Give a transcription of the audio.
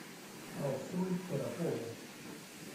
алсу торопову